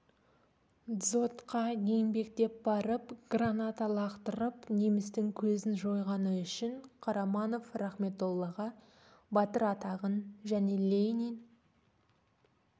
дзотқа еңбектеп барып граната лақтырып немістің көзін жойғаны үшін қараманов рахметоллаға батыр атағын және ленин